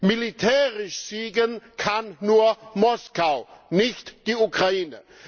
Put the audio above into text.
Militärisch siegen kann nur Moskau, nicht die Ukraine.